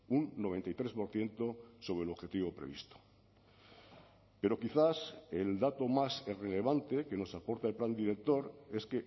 un noventa y tres por ciento sobre el objetivo previsto pero quizás el dato más relevante que nos aporta el plan director es